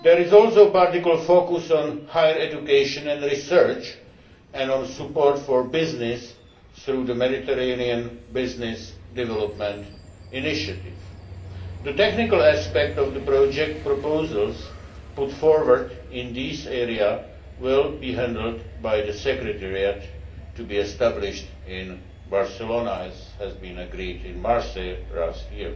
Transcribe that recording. There is also particular focus on higher education and research, as well as on support for business through the Mediterranean Business Development Initiative. The technical aspects of project proposals put forward in this area will be handled by the secretariat to be established in Barcelona, as was agreed in Marseilles last year.